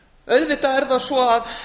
auðvitað er það svo að